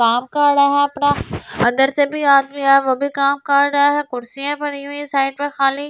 काम कर रहा अपना अंदर से आदमी से आदमी है वह भी अपना काम कर रहा है कुर्सियां पड़ी हुई है साइड पे खाली ।